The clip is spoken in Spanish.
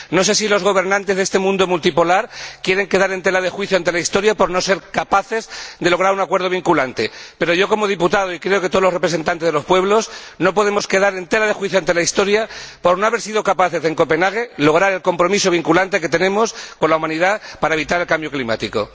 No sé si los gobernantes de este mundo multipolar quieren quedar en tela de juicio ante la Historia por no ser capaces de lograr un acuerdo vinculante, pero yo, como diputado, y creo que todos los representantes de los pueblos, no podemos quedar en tela de juicio ante la Historia por no haber sido capaces de lograr en Copenhague el compromiso vinculante que tenemos con la humanidad para evitar el cambio climático.